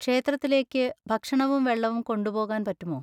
ക്ഷേത്രത്തിലേക്ക് ഭക്ഷണവും വെള്ളവും കൊണ്ടുപോകാൻ പറ്റുമോ?